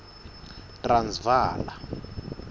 transvala